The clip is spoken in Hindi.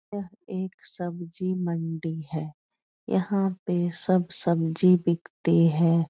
यह एक सब्जी मंडी है । यहाँ पे सब सब्जी बिकती है ।